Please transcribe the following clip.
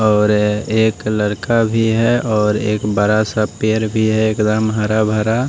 और एक लड़का भी है और एक बरा सा पेड़ भी है एकदम हरा भरा--